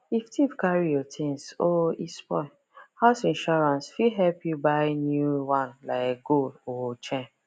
if thief carry your things or e spoil house insurance fit help you buy new one like gold or chain